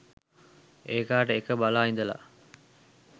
ඒකාට එක බලා ඉඳලා